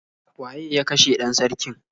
Waye ya kashe 'dan sarkin?